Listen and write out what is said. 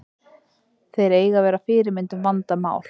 Þeir eiga að vera fyrirmynd um vandað mál.